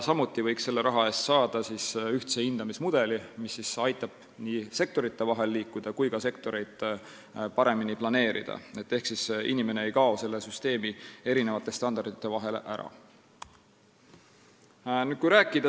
Samuti võiks selle raha eest saada ühtse hindamismudeli, mis aitaks nii sektorite vahel liikuda kui ka sektorite tegevust paremini planeerida, et inimene ei kaoks standardite vahele ära.